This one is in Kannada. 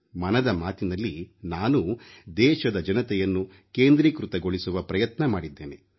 ಮನದ ಮಾತಿನಲ್ಲಿ ನಾನೂ ದೇಶದ ಜನತೆಯನ್ನು ಕೇಂದ್ರೀಕೃತಗೊಳಿಸುವ ಪ್ರಯತ್ನ ಮಾಡಿದ್ದೇನೆ